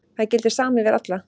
Það gildir sama yfir alla.